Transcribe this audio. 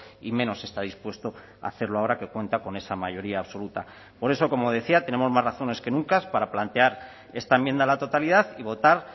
y menos está dispuesto a hacerlo ahora que cuenta con esa mayoría absoluta por eso como decía tenemos más razones que nunca para plantear esta enmienda a la totalidad y votar